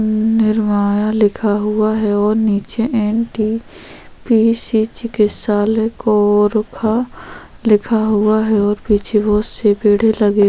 निर्माया लिखा हुआ है और नीचे एनटीपीसी चिकितशालय कोरबा लिखा हुआ हैं और पीछे बहुत से पेड़े